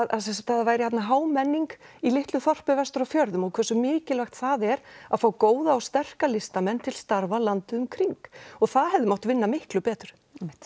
að það væri hámenning í litlu þorpi vestur á fjörðum og hversu mikilvægt það er að fá góða og sterka listamenn til starfa landið um kring og það hefði mátt vinna miklu betur